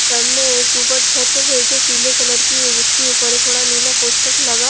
सामने एक ऊपर छत है जो पिले कलर की है जिसके ऊपर एक बड़ा नीले पोस्टर लगा--